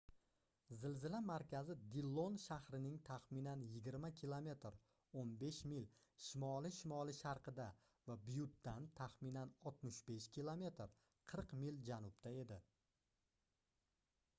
zilzila markazi dillon shahrining taxminan 20 km 15 mil shimoli-shimoli-sharqida va byuttdan taxminan 65 km 40 mil janubda edi